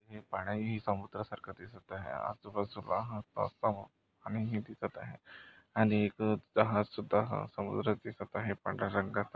हे पाणी ही समुद्र सारखं दिसत आहे. आजूबाजूला पाणी ही दिसत आहे आणि एक जहाज सुद्धा हा समुद्रात दिसत आहे पांढरा रंगाचा.